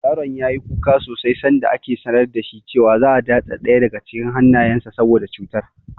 Yaron ya yi kuka sosai sanda aka sanar da shi cewa za'a datse ɗaya daga cikin hannayensa saboda cutar.